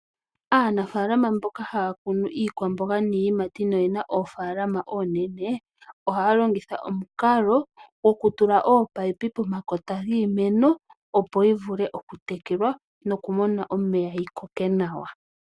Aanafalama mboka haya kunu iikwamboga niiyimati noyina oofalama oonene ohaya longitha omukalo gokutula ominino pomakota giimeno opo yivule okutekelwa nokumona omeya yikoke nawa.